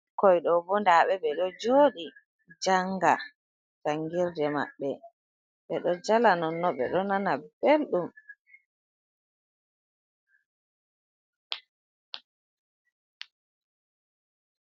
Ɓikkoy ɗo bo ɗaɓe ɓe ɗo jooɗi janga jangirde maɓɓe ɓe ɗo jala non no ɓe ɗo nana belɗum.